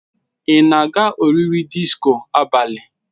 Ị na-aga oriri disko abalị